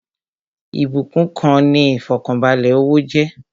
Ìbúkún kan ni ifọkanbalẹ owó jẹ́